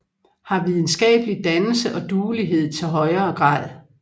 Har videnskabelig Dannelse og Duelighed til højere Grad